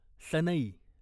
सनई